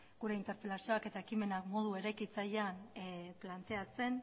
gure interpelazioak eta ekimenak modu eraikitzailean planteatzen